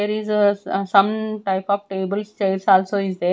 There is some type of tables chairs also is there.